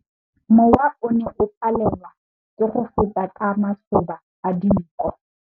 Mowa o ne o palelwa ke go feta ka masoba a dinko.